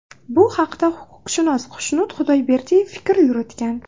Bu haqda huquqshunos Xushnud Xudoyberdiyev fikr yuritgan .